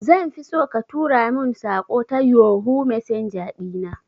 Zanfi so ka tura mun saƙo ta yohoo messenger ɗina